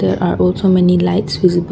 there are also many lights visible.